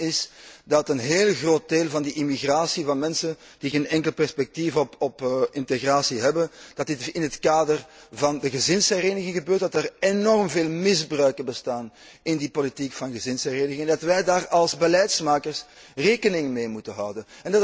De vaststelling is dat een heel groot deel van die immigratie van mensen die geen enkel perspectief op integratie hebben, in het kader van de gezinshereniging gebeurt, dat er enorm veel misbruiken bestaan in die politiek van gezinshereniging, dat wij daar als beleidsmakers rekening mee moeten houden.